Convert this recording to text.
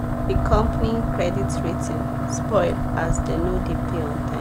the company credit rating spoil as dem no dey pay on time